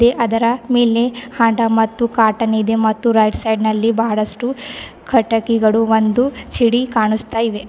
ಅದರ ಮೇಲೆ ಅಡ ಮತ್ತು ಕಾಟನ್ ಇದೆಮತ್ತು ರೈಟ್ ಸೈಡಲ್ಲಿ ಬಹಳಷ್ಟು ಕಟಕಿಗಳು ಒಂದು ಛಡಿ ಕಾಣಿಸ್ತ ಇವೆ.